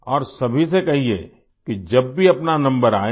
और सभी से कहिये कि जब भी अपना नंबर आये